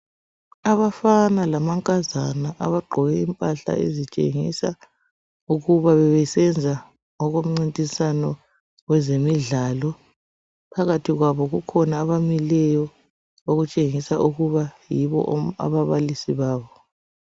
Abafana lamankazana abagqoke impahla ezitshengisa ukuba bebesenza okomncintiswano wezemidlalo. Phakathi kwabo kukhona abamileyo okutshengisa ukuba yibo ababalisi babo.